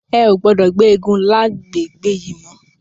È ó gbòdò gbé égùn làgbégbé yi mò